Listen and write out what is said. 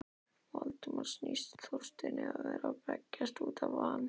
Valdimari sýndist Þorsteinn vera að belgjast út af van